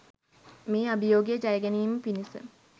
මේ අභියෝගය ජයගැනීම පිණිස